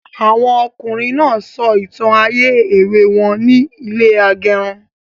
Àwọn ọkùnrin náà sọ ìtàn ayé èwe wọn ní ilẹ agẹrun